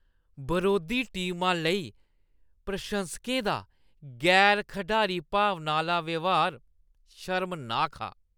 बरोधी टीमा लेई प्रशंसकें दा गैर-खढारी भावना आह्‌ला व्यहार शर्मनाक हा।